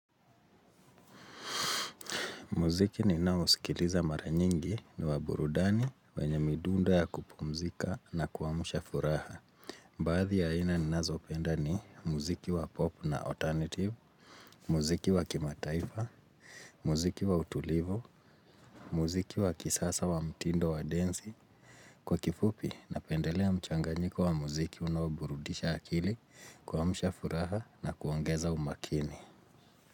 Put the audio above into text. Muziki ninao usikiliza mara nyingi ni waburudani wenyo midundo ya kupumzika na kuwamusha furaha. Baadhi ya aina nina zoopenda ni muziki wa pop na alternative, muziki wa kimataifa, muziki wa utulivo, muziki wa kisasa wa mtindo wa denzi. Kwa kifupi, napendelea mchanganyiko wa muziki unaburudisha akili kuwamusha furaha na kuwongeza umakini.